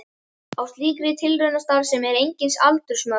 Á slíkri tilraunastarfsemi eru engin aldursmörk.